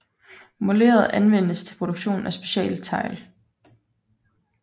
Moleret anvendes til produktion af specialtegl